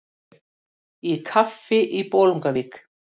Í kaffi í Bolungavík